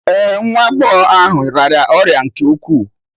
Ee, nwa agbọghọ ahụ rịara ọrịa nke ukwuu